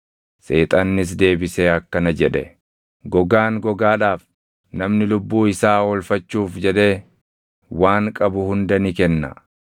Seexannis deebisee akkana jedhe; “Gogaan gogaadhaaf! Namni lubbuu isaa oolfachuuf jedhee waan qabu hunda ni kenna.